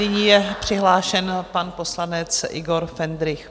Nyní je přihlášen pan poslanec Igor Hendrych.